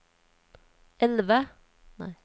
elve